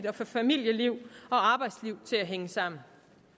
at få familie og arbejdsliv til at hænge sammen